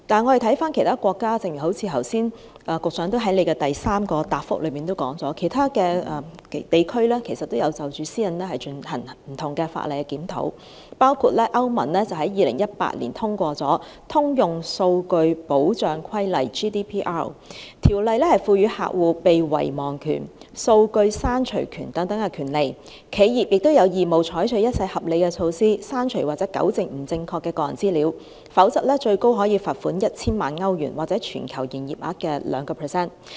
環顧其他國家，正如局長在主體答覆第三部分提到，其他地區也有就保障私隱而對法例進行檢討，包括歐洲聯盟於2018年通過《通用數據保障規例》，該規例賦予客戶被遺忘權、數據刪除權等權利；企業亦有義務採取一切合理措施，刪除或糾正不正確的個人資料，否則可被罰款最高 1,000 萬歐羅或全球盈業額的 2%。